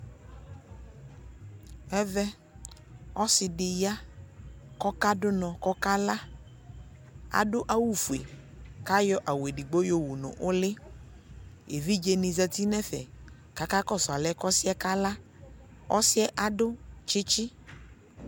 ɛvɛ ɔsi di ya ko ɔka do unɔ ko ɔka la, ado awu fue ko ayɔ awu edigbo yo wu no uli, evidze ni zati no ɛfɛ ko aka kɔsu anɛ ko ɔsiɛ ka la ɔsiɛ ado tsitsi